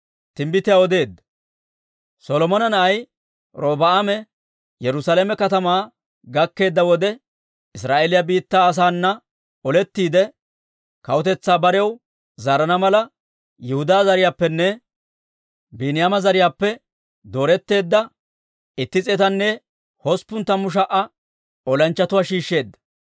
Solomona na'ay Robi'aame Yerusaalame katamaa gakkeedda wode, Israa'eeliyaa biittaa asaana olettiide, kawutetsaa barew zaarana mala, Yihudaa zariyaappenne Biiniyaama zariyaappe dooretteedda itti s'eetanne hosppun tammu sha"a olanchchatuwaa shiishsheedda.